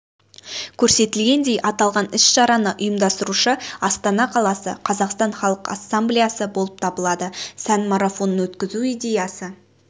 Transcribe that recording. көрсетілгендей аталған іс-шараны ұйымдастырушы астана қаласы қазақстан халық ассамблеясы болып табылады сән марафонын өткізу идеясы